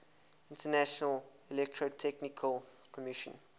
international electrotechnical commission